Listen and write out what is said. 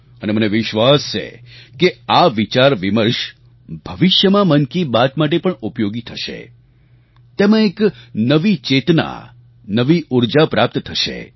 અને મને વિશ્વાસ છે કે આ વિચારવિમર્શ ભવિષ્યમાં મન કી બાત માટે પણ ઉપયોગી થશે તેમાં એક નવી ચેતના નવી ઉર્જા પ્રાપ્ત થશે